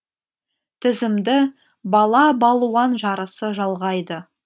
тізімді бала балуан жарысы жалғайды